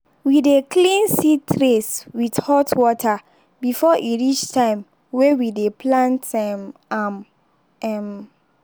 we dey clean seed trays with hot water before e reach time way we dey plant um am. um